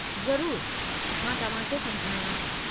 ज़रूर, मां तव्हां खे समुझायां थी।